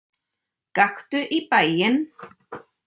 Gakktu í bæinn!